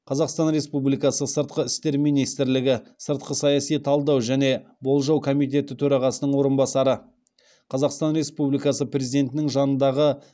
қазақстан республикасы сыртқы істер министрлігі сыртқы саяси талдау және болжау комитеті төрағасының орынбасары қазақстан республикасы президентінің жанындағы қсзи